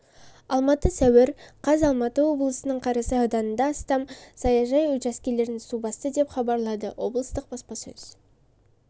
алматы сәуір қаз алматы облысының қарасай ауданында астам саяжай учаскесін су басты деп хабарлады облыстық баспасөз